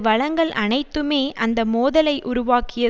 வளங்கள் அனைத்துமே அந்த மோதலை உருவாக்கிய